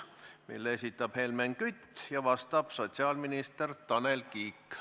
Selle esitab Helmen Kütt ja vastab sotsiaalminister Tanel Kiik.